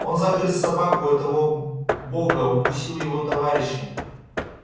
он загрыз собаку этого бога укусил его товарища